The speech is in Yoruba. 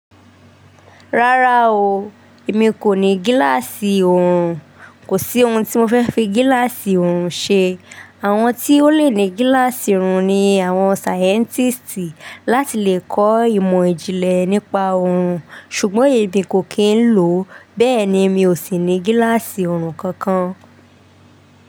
Rárá o, èmi kò ní gíláàsì òòrùn, kò sí ohun tí mo fẹ́ fi gíláàsì òòrùn ṣe. Àwọn tí ó le ní gíláàsì òòrùn ni àwọn sáyẹ́ntísì láti lè kọ ìmọ̀ ìjìnlẹ̀ nípa òòrùn. Ṣùgbọ́n èmi kò kí ń lò, bẹ́ẹ̀ni mi ò sì ní gíláàsì òòrùn kankan.